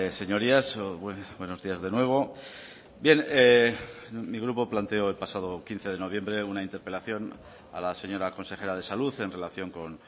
señorías buenos días de nuevo bien mi grupo planteó el pasado quince de noviembre una interpelación a la señora consejera de salud en relación con